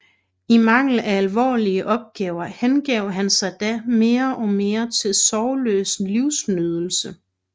I mangel af alvorlige opgaver hengav han sig da mere og mere til sorgløs livsnydelse